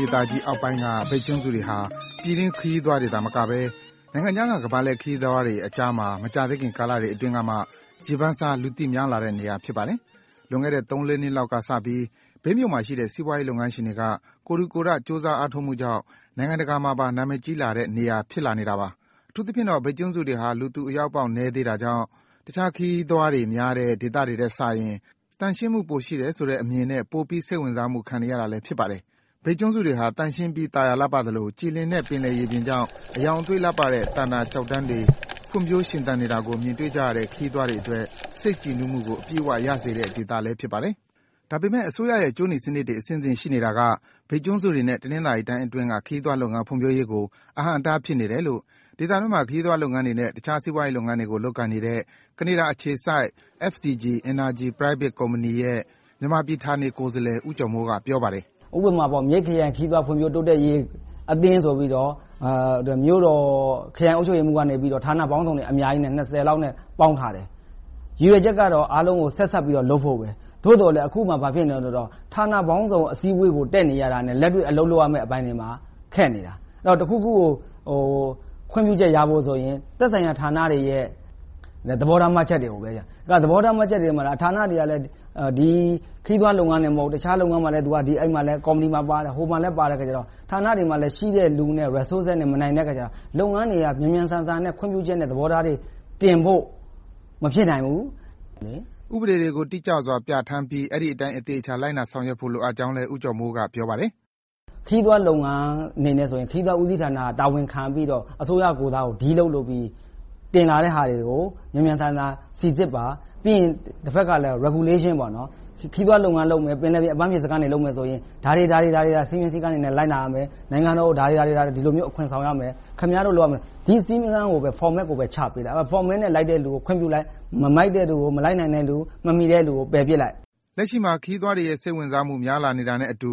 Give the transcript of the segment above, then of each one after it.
ဒေသကြီးအောက်ပိုင်းက မြိတ်ကျွန်းစုတွေဟာ ပြည်တွင်းခရီးသွားတွေသာမကဘဲ နိုင်ငံခြားက ခရီးသွားတွေအကြားမှာ မကြာသေးမီကာလတွေအတွင်းက ရေပန်းစား၊ လူသိများလာတဲ့နေရာ ဖြစ်ပါတယ်။ လွန်ခဲ့တဲ့ သုံးလေးနှစ်လောက်ကစပြီး မြိတ်မြို့မှာရှိတဲ့ စီးပွားရေးလုပ်ငန်းရှင်တွေက ကိုယ်ထူကိုယ်ထ၊ ကြိုးစားအားထုတ်မှုကြောင့် နိုင်ငံတကာမှာပါ နာမည်ကြီးလာတဲ့နေရာ ဖြစ်လာနေတာပါ။ အထူသဖြင့်တော့ မြိတ်ကျွန်းစုတွေဟာ လူသူအရောက်ပေါက်နည်းသေးတာမို့၊ တခြားခရီးသွားများတဲ့ ဒေသတွေထက်စာရင် သန့်ရှင်းမှု ပိုရှိတယ်ဆိုတဲ့အမြင်နဲ့ ပိုပြီးစိတ်ဝင်စားမှု ခံနေရတာလည်း ဖြစ်ပါတယ်။ မြိတ်ကျွန်းစုတွေဟာ သန့်ရှင်းပြီး သာယာလှပသလို၊ ကြည်လင်တဲ့ ပင်လယ်ရေပြင်ကြောင့် အရောင်အသွေးလှပတဲ့ သန္တာကျောက်တန်းတွေ ဖွံ့ဖြိုးရှင်သန်နေတာကို မြင်တွေ့ရတဲ့ ခရီးသွားတွေအတွက် စိတ်ကြည်နူးမှုကို အပြည့်အဝရစေတဲ့ ဒေသလည်း ဖြစ်ပါတယ်။ ဒါပေမဲ့ အစိုးရရဲ့ ကြိုးနီစနစ်တွေအဆင့်ဆင့် ရှိနေတာက မြိတ်ကျွန်းစုတွေနဲ့ တနင်္သာရီတိုင်းအတွင်းက ခရီးသွားလာရေး ဖွံ့ဖြိုးမှုကို အဟန့်အတားဖြစ်နေတယ်လို့ ဒေသတွင်းမှာ ခရီးသွားလုပ်ငန်းတွေနဲ့ အခြားစီးပွားရေးလုပ်ငန်းတွေ လုပ်ကိုင်နေတဲ့ ကနေဒါအခြေစိုက် FCG Energy Private Company ရဲ့ မြန်မာပြည်ဌာနေကိုယ်စားလှယ် ဦးကျော်မိုး က ပြောပါတယ်။ ဦးကျော်မိုး ။ ။ ဥပမာ မြိတ်ခရိုင်ခရီးသွားလာ တိုးတက်ရေးအသင်းဆိုပြီးတော့ မြို့တော်ခရိုင်အုပ်ချုပ်ရေးမှူးက ဌာနပေါင်းစုံအများကြီး လောက်နဲ့ ပေါင်းထားတယ်။ ရည်ရွယ်ချက်ကတော့ အားလုံးကို ဆက်စပ်ပြီးတော့ လုပ်ဖို့ပဲ၊ သို့သော် အခုက ဘာဖြစ်နေလဲဆိုတော့ ဌာနပေါင်းစုံ အစည်းအဝေးကို တက်နေရတာနဲ့ လက်တွေ့လုပ်ရမယ့်အပိုင်းတွေမှာ ခက်နေတယ်။ တခုခုကို ခွင့်ပြုချက်ရဖို့ဆိုရင် သက်ဆိုင်ရာဌာနတွေရဲ့ သဘောထားမှတ်ချက်တွေကို စောင့်ရတယ်။ သဘောထားမှတ်ချက်တွေပေးတဲ့ ဌာနတွေက ခရီးသွားလုပ်ငန်းဌာနတင်မကဘူး တခြားလုပ်ငန်းမှာလည်း ဟိုကော်မတီ ဒီကော်မတီပါတော့ ဌာနတွေမှာ ရှိတဲ့လူနဲ့ Resources နဲ့ မနိုင်တဲ့အခါကြတော့ လုပ်ငန်းတွေက မြန်မြန်ဆန်ဆန်နဲ့ ခွင့်ပြုချက်နဲ့ သဘောထားတွေတင်ဖို့ မဖြစ်နိုင်ဘူး။ ကိုဇော်ဝင်းလှိုင် ။ ။ ဥပေဒတွေကို တိတိကျကျ ပြဌာန်းပြီး အဲဒီအတိုင်း သေချာလိုက်နာဆောင်ရွက်ဖို့လည်း ဦးကျော်မိုးက ပြောပါတယ်။ ဦးကျော်မိုး ။ ။ ခရီးသွားလုပ်ငန်းအနေနဲ့ဆိုရင် ခရီးသွားဦးစီးဌာနက တာဝန်ယူပြီးတော့ အစိုးရကိုယ်စား Deal လုပ်ပြီး တင်လာတဲ့ဟာတွေကို မြန်မြန်ဆန်ဆန် Regulations - ခရီးသွားလုပ်ငန်းလုပ်မယ်ဆိုရင် ဒါတွေက စည်းကမ်းဥပဒေနဲ့ လိုက်နာရမယ်။ နိုင်ငံတော်ကို ဒီလောက် အခွန်ဆောင်ရမယ်။ ဒီလိုစည်းကမ်းတွေကိုပဲ Format ကို ချပေးလိုက်။ Format လိုက်တဲ့လူကိုပဲ ချပေးလိုက်။ မလိုက်နာတဲ့လူ၊ မမီတဲ့လူကို ပယ်ပြစ်လိုက်။ ကိုဇော်ဝင်းလှိုင် ။ ။ လက်ရှိမှာ ခရီးသွားတွေရဲ့ စိတ်ဝင်စားမှု များလာတာနဲ့အတူ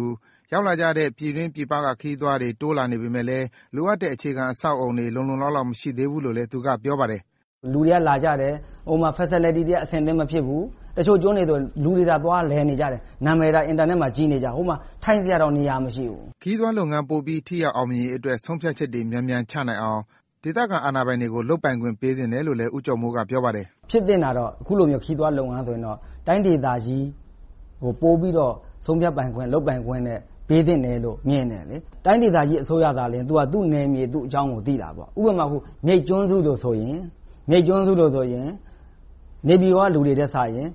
ရောက်လာကြတဲ့ ပြည်တွင်းပြည်ပက ခရီးသွားတွေ တိုးလာပေမယ့်လည်း လိုအပ်တဲ့ အခြေခံအဆောက်အအုံတွေ လုံလုံလောက်လောက် မရှိသေးဘူးလို့လည်း သူက ပြောပါတယ်။ ကိုကျော်မိုး ။ ။ လူတွေ လာကြတယ်။ ဟိုမှာ Facilities တွေက အဆင်သင့် မဖြစ်သေးဘူး။ တချို့ကျွန်းတွေဆိုရင် လူတွေသာ သွားလည်နေကြတာ နာမည်သာ Internet မှာ ကြီးနေတာ ဟိုမှာ ထိုင်စရာတောင်နေရာ မရှိဘူး။ ကိုဇော်ဝင်းလှိုင် ။ ။ ခရီးသွားလုပ်ငန်းပိုပြီးအောင်မြင်ရေးအတွက် ဆုံးဖြတ်ချက်တွေ မြန်မြန်ချနိုင်အောင် ဒေသခံအာဏာပိုင်တွေကို လုပ်ပိုင်ခွင့်ပေးသင့်တယ်လို့ ဦးကျော်မိုးက ပြောပါတယ်။ ဦးကျော်မိုး ။ ။ ဖြစ်သင့်တာက အခုလိုမျိုး ခရီးသွားလုပ်ငန်းဆိုရင်တော့ တိုင်းဒေသကြီးကို ပိုပြီးတော့ ဆုံးဖြတ်ပိုင်ခွင့်၊ လုပ်ပိုင်ခွင့်တွေ ပေးသင့်တယ်လို့ မြင်တယ်။ တိုင်းဒေသကြီးအစိုးရကလည်း သူ့နယ်မြေ သူ့ဒေသအကြောင်းကို ပိုသိတယ်။ ဥပမာ မြိတ်ကျွန်းစုတွေဆိုရင် နေပြည်တော်က လူတွေထက်စာရင်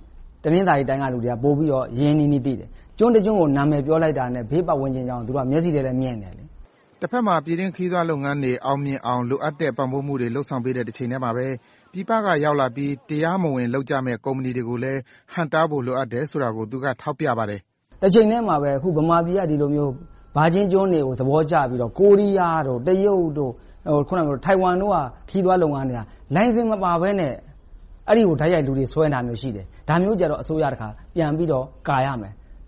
တနင်္သာရီတိုင်းက လူတွေကပိုပြီးတော့ ရင်းရင်းနှီးနှီး ပိုသိတယ်။ ကျွန်းတကျွန်းကို နာမည်ပြောလိုက်တာနဲ့ ဘေးပတ်ဝန်းကျင်အကြောင်းကို သူတို့က မြင်တယ်။ ကိုဇော်ဝင်းလှိုင် ။ ။ တဘက်မှာ ပြည်တွင်းခရီးသွားလုပ်ငန်းတွေ အောင်မြင်အောင် လိုအပ်တဲ့ ပံ့ပိုးမှုတွေ လုပ်ဆောင်ပေးနေတဲ့ တချိန်တည်းမှာပဲ ပြည်ပကရောက်လာပြီး တရားမဝင်လုပ်ကြမယ့် ကုမ္ပဏီတွေကိုလည်း ဟန့်တားဖို့ လိုအပ်တယ်ဆိုတာကိုလည်း သူကထောက်ပြပါတယ်။ ကိုကျော်မိုး ။ ။တချိန်တည်းမှာပဲ မြန်မာပြည်က ဒီလိုမျိုး ဒီ Virgin ကျွန်းတွေကို သဘောကျပြီးတော့ ကိုရီးယား၊ တရုတ်၊ ထိုင်ဝမ်တို့က ခရီးသွားလုပ်ငန်းတွေက လိုင်စင်မပါဘဲနဲ့ အဲဒီကို တိုက်ရိုက်ခရီးဆွဲနေတာတွေ ရှိတယ်။ ဒါမျိုးဆိုရင် အစိုးရက ကာကွယ်ရမယ်။ မြ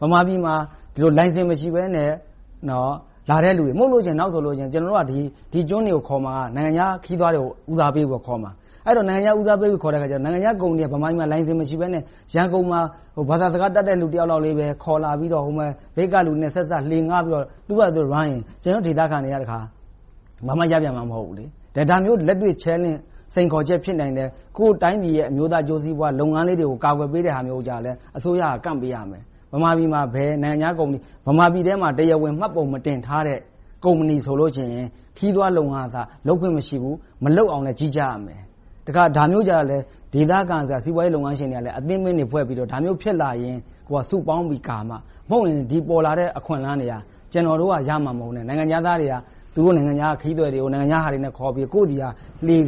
န်မာပြည်မှာ လိုင်စင်မရှိဘဲနဲ့ လာတဲ့လူတွေကို မတားဘူးဆိုရင် နောင်ဆို ကျနော်တို့က ဒီကျွန်းတွေကို ခေါ်မှာက နိုင်ငံခြားခရီးသွားတွေကို ဦးစားပေးပြီးတော့ ခေါ်မှာ။ အဲဒီလို နိုင်ငံခြားသားတွေခေါ်တဲ့အခါ နိုင်ငံခြားကုမ္ပဏီတွေက လိုင်စင်မရှိဘဲနဲ့ ရန်ကုန်မှာ ဘာသာစကားတတ်တဲ့ လူတယောက်လောက်ပဲ ခေါ်လာပြီးတော့ မြိတ်ကလူနဲ့ ဆက်စပ်ပြီး သူတို့ဘာသာလုပ်ရင် ဒေသခံတွေက ဘာမှရမှာ မဟုတ်ဘူး။ ဒါမျိုးလက်တွေ့ စိန်ခေါ်ချက် ဖြစ်နိုင်တယ်။ ကိုယ့်တိုင်းပြည်ရဲ့ အမျိုးသားအကျိုးစီးပွားလုပ်ငန်းလေးတွေကို ကာကွယ်ပေးတာမျိုးကို အစိုးရက ကန့်ပေးရမယ်။ မြန်မာပြည်မှာ ဘယ်နိုင်ငံခြားကုမ္ပဏီ တရားဝင်မှတ်ပုံမတင်ထားတဲ့ ကုမ္ပဏီတွေဆိုရင် ခရီးသွားလုပ်ငန်း လုပ်ခွင့်မရှိဘူး။ မလုပ်အောင်လည်း ကြီးကြပ်ရမယ်။ ဒါမျိုးကြတော့လည်း ဒေသခံစီးပွားရေးလုပ်ငန်းရှင်တွေကလည်း အသင်းတွေဖွဲ့ပြီးတော့ ဒါမျိုးဖြစ်လာရင် စုပေါင်းပြီးကာမှ၊ မဟုတ်ရင် ပေါ်လာတဲ့ အခွင့်အလမ်းတွေဟာ ကျနော်တို့ရမှာမဟုတ်ဘဲ၊ နိုင်ငံခြားသားတွေက သူတို့နိုင်ငံက ခရီးသည်တွေကို သူတို့ကုမ္ပဏီတွေနဲ့ ခေါ်ပြီးတော့ ကိုယ့်ဆီက လှေခ၊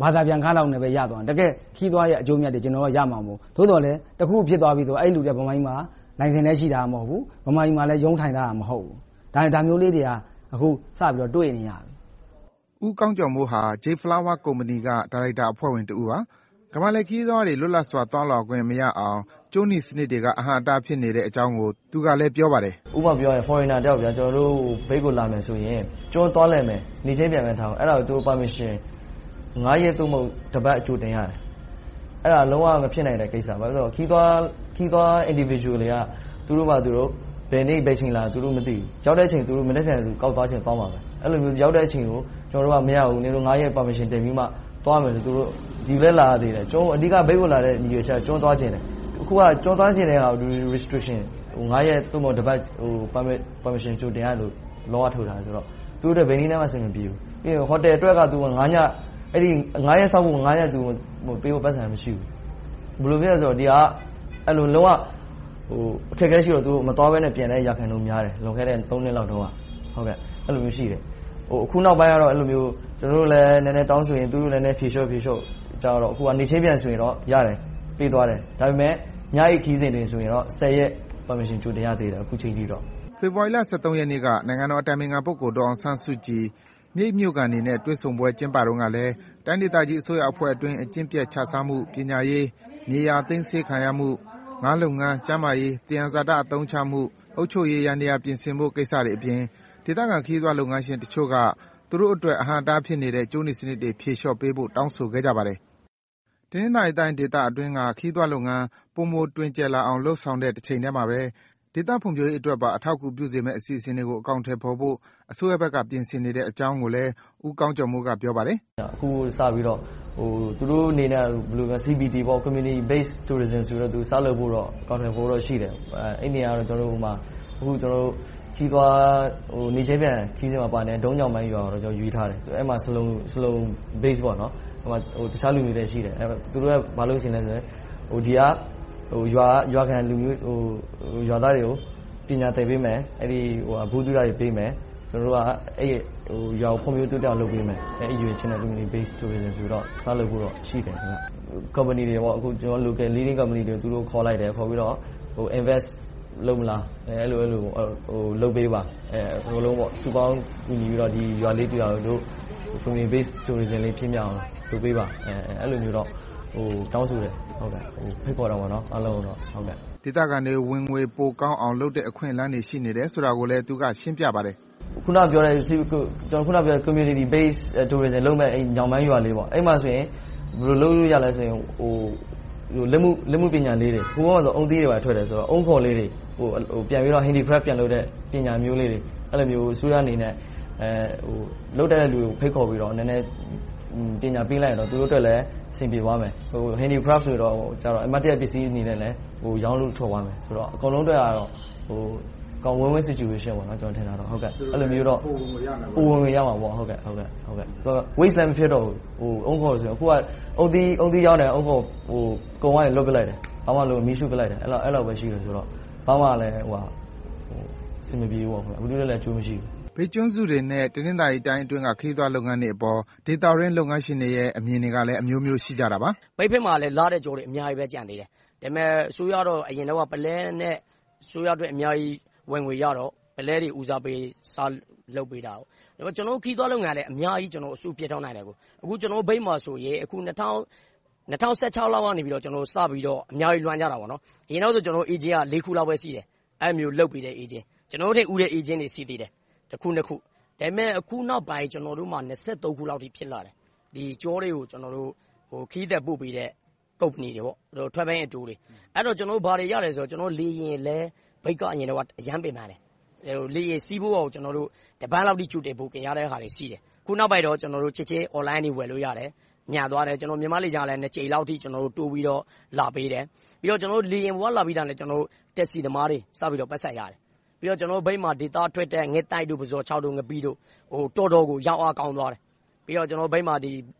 ဘာသာပြန်ခလောက်နဲ့ ရသွားတယ်။ တကယ့်ခရီးသွားရဲ့ အကျိုးအမြတ်တွေက ကျနော်တို့က ရမှာမဟုတ်ဘူး။ သို့သော်လဲ တခုခုဖြစ်သွားပြီဆိုရင် အဲဒီလူတွေက မြန်မာပြည်မှာ လိုင်စင်လည်းရှိတာ မဟုတ်ဘူး။ မြန်မာပြည်မှာလည်း ရုံးထိုင်ထားတာ မဟုတ်ဘူး။ ဒါမျိုးလေးတွေကို အခုစပြီး တွေ့နေရပြီ။ ကိုဇော်ဝင်းလှိုင် ။ ။ ဦးကောင်းကျော်မိုးဟာ J Flower Company က ဒါရိုက်တာအဖွဲ့ဝင်တဦးပါ။ ကမ္ဘာလှည့်ခရီးသွားတွေ လွတ်လပ်စွာ သွားလာခွင့်မရအောင် ကြိုးနီစနစ်တွေက အဟန့်အတား ဖြစ်နေတဲ့အကြောင်းကို သူကလည်း ပြောပါတယ်။ ကိုကောင်းကျော်မိုး။ ။ ဥပမာ Foreigner တယောက် ကျနော်တို့မြိတ်ကို လာမယ်ဆိုရင် ကျွန်းသွားလည်မယ် - နေ့ချင်းပြန်ဆိုပါတော့ - အဲဒါကို Permission ရက် သို့မဟုတ် တစ်ပတ် ကြိုတင်ရတယ်။ အဲဒါ လုံးဝမဖြစ်နိုင်တဲ့ကိစ္စ။ ခရီးသွား Individual တွေက သူတို့ဘာသာသူတို့ ဘယ်နေ့ဘယ်အချိန် လာမယ်ဆိုတာ သူတို့ မသိဘူး။ ရောက်တဲ့အချိန် သူတို့ ကောက်သွားချင် သွားမှာပဲ။ အဲဒီလို ရောက်တဲ့အချိန်ကို နင်တို့မရဘူး။ ရက် ပတ်ဝန်းကျင် တင်ပြီးမှ သွားရမယ်ဆိုရင်တော့ ဒီကိုလာပြီးတော့ - အဓိက ဒီကိုလာရတဲ့အကြောင်းရင်းက ကျွန်းသွားချင်တယ်။ အခုက ကျွန်းသွားချင်တဲ့ဟာကို Restriction ရက် သို့မဟုတ် တစ်ပတ် Permission ကြိုတင်ရတဲ့ ဥပဒေက ထုတ်ထားတယ်။ အဲဒါ ဘယ်နည်းနဲ့မှ အဆင်မပြေဘူး။ ဟိုတယ်အတွက် ရက်စောင့်ဖို့ သူမှာ ပိုက်ဆံမရှိဘူး။ ဘယ်လိုဖြစ်သလဲဆိုတော့ ဒါက လုံးဝအခက်အခဲရှိတော့ မသွားဘဲ ပြန်တဲ့ ရာခိုင်နှုန်းများတယ်။ လွန်ခဲ့တဲ့ နှစ်လောက်တုန်းက အဲဒီလိုရှိတယ်။ အခုနောက်ပိုင်းတော့ ကျနော်တို့လည်း နည်းနည်းတောင်းဆိုရင်၊ သူတို့လည်း ဖြေလျှော့နဲ့ ကြာလာတော့ အခုက နေ့ချင်းပြန်ဆိုရင်တော့ရတယ်။ ပေးသွားတယ်။ ဒါပေမဲ့ ညအိပ်ခရီးစဉ်တွေဆိုရင်တော့ ရက် ကြိုတင် Permission တောင်းရတယ်။ ကိုဇော်ဝင်းလှိုင် ။ ။ ဖေဖေါ်ဝါရီလ ရက်နေ့က နိုင်ငံတော်အတိုင်ပင်ခံ ပုဂ္ဂိုလ် ဒေါ်အောင်ဆန်းစုကြည် မြိတ်မြို့ခံတွေနဲ့ တွေ့ဆုံစဉ်တုန်းကလည်း တိုင်းဒေသကြီးအစိုးရအဖွဲ့အတွင်း အကျင့်ပျက်ခြစားမှု၊ ပညာရေး၊ မြေယာသိမ်းဆည်းခံရမှု၊ ငါးလုပ်ငန်း၊ ကျန်းမာရေး၊ သယံဇာတ အသုံးချမှု၊ အုပ်ချုပ်ရေးယန္တယား ပြင်ဆင်ဖို့ကိစ္စတွေအပြင် ဒေသခံခရီးသွားလုပ်ငန်းရှင်တချို့က သူတို့အတွက် အဟန့်အတားဖြစ်နေတဲ့ ကြိုးနီစနစ်တွေ ဖြေလျှော့ပေးဖို့ တောင်းဆိုခဲ့ကြပါတယ်။ တနင်္သာရီတိုင်းဒေသအတွင်းက ခရီးသွားလုပ်ငန်း ပိုမိုတွင်ကျယ်လာအောင် လုပ်ဆောင်နေတဲ့ တချိန်တည်းမှာပဲ ဒေသဖွံ့ဖြိုးရေးအတွက်ပါ အထောက်အကူဖြစ်စေမယ့် အစီအစဉ်တွေကို အကောင်အထည်ဖော်ဖို့ အစိုးရဘက်က ပြင်ဆင်နေတဲ့အကြောင်းကိုလည်း ဦးကောင်းကျော်မိုး က ပြောပါတယ်။ ကိုကောင်းကျော်မိုး ။ ။ အခုစပြီးတော့ သူတို့အနေနဲ့ Community Based Tourism ဆိုပြီး စလုပ်ဖို့ အစီအစဉ်ရှိတယ်။ အဲဒါကတော့ နေ့ချင်းပြန် ခရီးသွားလာကြတဲ့.. ရွာကို ရွေးထားတယ်။ ဆလုံတွေ နဲ့ တခြားလူမျိုးတွေလည်း ရှိတယ်။ သူတို့က ဘာလုပ်ချင်လဲဆိုရင် ဒီက ရွာသားတွေကို ပညာသင်ပေးမယ်။ ဗဟုသုတတွေပေးမယ်။ ကျနော်တို့က အဲဒီရွာကို ဖွံ့ဖြိုးတိုးတက်အောင် လုပ်ပေးမယ်။ အဲဒီရည်ရွယ်ချက်နဲ့ Community Based Tourism ဆိုပြီးတော့ စလုပ်ဖို့တော့ ရှိတယ်။ ကုမ္ပဏီတွေ ကျနော်တို့ Leading local companies တွေကို သူတို့ခေါ်လိုက်ပြီး ရင်းနှီးမြုပ်နံှမှုလုပ်မလား၊ လုပ်ပေးပါ - ရွာလေးတရွာကို Community Based Tourism လေး ဖြစ်အောင် လုပ်ပေးပါဆိုပြီးတော့ တောင်းဆိုတယ်၊ ဖိတ်ခေါ်တယ်။ ကိုဇော်ဝင်းလှိုင် ။ ။ ဒေသခံတွေ ဝင်ငွေပိုကောင်းအောင် လုပ်နိုင်တဲ့ အခွင့်အလမ်းတွေ ရှိနေတယ်ဆိုတာကိုလည်း သူက ရှင်းပြပါတယ်။ ကိုကောင်းကျော်မိုး ။ ။ ကျနော် အခုနပြောတဲ့ Community Based Tourism လုပ်မယ့်… ရွာလေးမှာ ဘယ်လိုလုပ်လို့ရသလဲဆိုရင် လက်မှုပညာလေးတွေ။ ဟိုတုန်းကဆိုရင် အုန်းသီးတွေကို Handy crafts ပြန်လုပ်တဲ့ ပညာမျိုးလေးတွေကို အစိုးရအနေနဲ့ လုပ်တတ်တဲ့လူကို ဖိတ်ခေါ်ပြီးတော့ အစိုးရအနေနဲ့ ပညာပေးလိုက်ရင် သူတို့အနေနဲ့ အဆင်ပြေသွားလိမ့်မယ်။ လက်မှုပညာလေးတွေဆိုတော့ အမှတ်တရပစ္စည်းအနေနဲ့ ရောင်းလို့ထွက်သွားမယ်။ အကုန်လုံးအတွက်တော့ Win-Win Situation ဖြစ်မယ်။ ပိုဝင်ငွေရနိုင်တယ်။ အုန်းခွံတွေလည်း Waste မဖြစ်တော့ဘူး။ အခုက အုန်းသီးရောင်းတယ်။ အုန်းခွံကို လွှင့်ပစ်လိုက်တယ်။ ဘာမှမလုပ် မီးရှို့လိုက်တယ်။ ဘာမှအဆင်မပြေ၊ လူတွေအတွက်လည်း အကျိုးမရှိဘူး။ မေး ။ ။ မြိတ်ကျွန်းစုတွေနဲ့ တနင်္သာရီတိုင်းအတွင်းက ခရီးသွားလုပ်ငန်းတွေအပေါ် ဒေသတွင်းလုပ်ငန်းရှင်တွေရဲ့ အမြင်တွေကလည်း အမျိုးမျိုး ရှိကြတာပါ။ ဒေသခံ ။ ။ မြိတ်နားတဝိုက်မှာ လှတဲ့ကျွန်းတွေ အများကြီးကျန်သေးတယ်။ ဒါပေမဲ့ အစိုးရကတော့ အရင်တုန်းက ပုလဲနဲ့ အစိုးရအတွက် ဝင်ငွေအများကြီးရတော့ အဲဒါကို ဦးစားပေး စလုပ်ပေးတယ်။ ကျနော်တို့ ခရီးသွားလုပ်ငန်းကလည်း အများကြီးလုပ်ပေးနိုင်တယ်။ အခုမြိတ်မှာဆိုရင် ၂၀၁၆ လောက်ကစပြီးတော့ အများကြီးလုပ်လာကြတယ်။ အရင်က Agent က လေးခုလောက်ပဲ ရှိတယ်။ အဲဒီလိုမျိုး လုပ်ပေးတဲ့ Agents. ကျနော်တို့ထက် ဦးတဲ့ Agents တွေ ရှိသေးတယ်။ တစ်ခု၊ နှစ်ခု။ ဒါပေမဲ့ အခုနောက်ပိုင်း ကျနော်တို့မှာ ခုလောက်အထိ ရှိလာတယ်။ ကျွန်းတွေကို ခရီးသည်ပို့ပေးတဲ့ ကုမ္ပဏီတွေ - Travel and Tour တွေ။ အဲဒီက ဘာတွေရသလဲဆိုရင် လေယာဉ်လည်း အရင်တုန်းက ခက်ခဲတယ်။ လေယာဉ်စီးဖို့ကို တစ်ပတ်လောက် ကြိုတင် Booking လုပ်ရတယ်။ အခုနောက်ပိုင်းတော့ ချက်ချင်း Online ကနေ ဝယ်လို့ရတယ်။ မြန်သွားတယ်။ မြန်မာ့လေကြောင်းလိုင်းက နှစ်ကြိမ်လောက် တိုးပြီးတော့ လာပေးတယ်။ လေယာဉ်ပေါ်က လာပြီးတာနဲ့ တက္ကစီသမားတွေ စပြီးတော့ ပိုက်ဆံရတယ်။ နောက် ကျနော်တို့မြိတ်မှာထွက်တဲ့ ငှက်သိုက်တို့၊ ပုဇွန်ခြောက်၊ ငပိတို့ တော်တော်ကို ရောင်းအားကောင်းသွားတယ်။ ပြီးတော့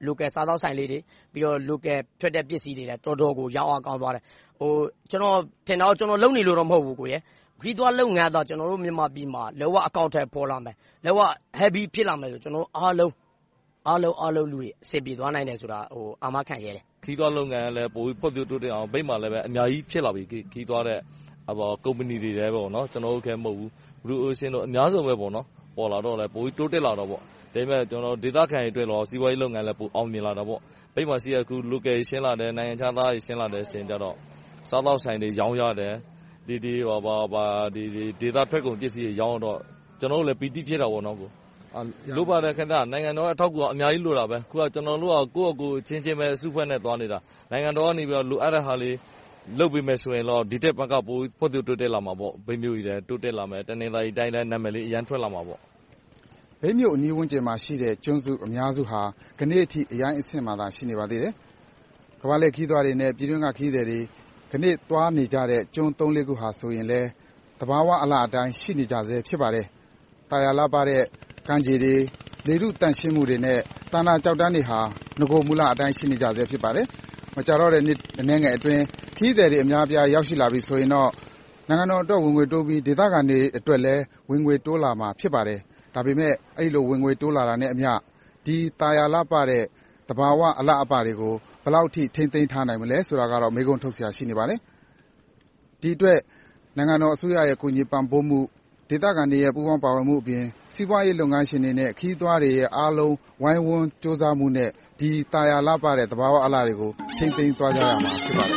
Local စားသောက်ဆိုင်လေးတွေ၊ Local ပစ္စည်းတွေ တော်တော်ကို ရောင်းအားကောင်းသွားတယ်။ ကျနော်ထင်တာက ကျနော် လုပ်နေလို့မဟုတ်ဘူး ခရီးသွားလုပ်ငန်းသာ ကျနော်တို့ မြန်မာပြည်မှာ လုံးဝအကောင်အထည် ဖော်လာပြီး၊ လုံးဝ Heavy ဖြစ်လာခဲ့ရင် အားလုံးသောလူတွေ အဆင်ပြေသွားနိုင်မယ်ဆိုတာကို အာမခံရဲတယ်။ ခရီးသွားလုပ်ငန်းလည်း ပိုပြီးဖွံ့ဖြိုးတိုးတက်အောင် မြိတ်မှာလည်း အများကြီးဖြစ်လာပြီ။ ကုမ္ပဏီတွေ ကျနော်တင်မဟုတ်ဘူး အများကြီး ပေါ်လာတော့လည်း ပိုပြီးတိုးတက်တာပေါ့။ ဒါ့အပြင် ဒေသခံတွေအတွက်တော့ စီးပွားရေးလုပ်ငန်းလည်း ပိုအောင်မြင်လာတာပေါ့။ မြိတ်မှာရှိတဲ့ Local ဆင်းလာတယ်၊ နိုင်ငံခြားသားတွေ ဆင်းလာတော့ စားသောက်ဆိုင်တွေ ရောင်းရတယ်။ ဒေသထွက်ပစ္စည်းတွေ ရောင်းရတော့ ကျနော်တို့လည်း ပီတိ ဖြစ်တာပေါ့။ နိုင်ငံတော်ရဲ့ အထောက်အကူ အများကြီးလိုပါတယ်။ အခုက ကျနော်တို့က ကိုယ်ဘာသာအချင်းချင်းပဲ အစုအဖွဲ့နဲ့ သွားနေတာ။ နိုင်ငံတော်ကနေ လိုအပ်တဲ့ဟာလေးတွေ လုပ်ပေးမယ်ဆိုရင်တော့ ဒီထက်မက ဖွံ့ဖြိုးတိုးတက်လာမှာပေါ့။ တနင်္သာရီတိုင်းလည်း နာမည်လေး အရမ်းထွက်လာမှာပေါ့။ ကိုဇော်ဝင်းလှိုင် ။ ။ မြိတ်မြို့အနီးဝန်းကျင်မှာရှိတဲ့ ကျွန်းစုအများစုဟာ ဒီနေ့အထိ အရိုင်းအဆင့်မှာပဲ ရှိနေပါသေးတယ်။ ကမ္ဘာလှည့်ခရီးသွားတွေနဲ့ ပြည်တွင်းက ခရီးသည်တွေ ဒီနေ့သွားနေကြတဲ့ ကျွန်းသုံးလေးခု ဆိုတာလည်း သဘာဝအလှအတိုင်း ရှိနေကြဆဲ ဖြစ်ပါတယ်။ သာယာလှပတဲ့ ကမ်းခြေတွေ၊ လေထုသန့်ရှင်းမှုနဲ့ သန္တာကျောက်တန်းတွေဟာ နဂိုမူလအတိုင်း ရှိနေကြဆဲ ဖြစ်ပါတယ်။ မကြာတော့တဲ့ နှစ်အနည်းငယ်အတွင်း ခရီးသည်တွေ အများအပြား ရောက်ရှိလာမယ်ဆိုရင်တော့ နိုင်ငံတော်အတွက် ဝင်ငွေတိုးပြီး၊ ဒေသခံတွေအတွက်လည်း ဝင်ငွေတိုးလာမှာ ဖြစ်ပါတယ်။ ဒါပေမဲ့ အဲဒီလို ဝင်ငွေတိုးလာတာနဲ့အမျှ ဒီသာယာလှပတဲ့ သဘာဝအလှအပတွေကို ဘယ်လောက်အထိ ထိန်းသိမ်းထားနိုင်မလဲဆိုတာကတော့ မေးခွန်းထုတ်စရာ ရှိနေပါတယ်။ ဒီအတွက် နိုင်ငံတော်အစိုးရရဲ့ ကူညီပံ့ပိုးမှု၊ ဒေသခံတွေရဲ့ ပူးပေါင်းပါဝင်မှုအပြင် စီးပွားရေးလုပ်ငန်းရှင်တွေနဲ့ ခရီးသွားတွေရဲ့ အားလုံး ဝိုင်းဝန်းကြိုးစားမှုနဲ့ ဒီသာယာလှပတဲ့ သဘာဝအလှတွေကို ထိန်းသိမ်းသွားကြရမယ် ဖြစ်ပါတယ်